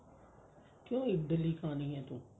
ਕਿਉਂ ਇਡਲੀ ਖਾਣੀ ਹੈ ਤੂੰ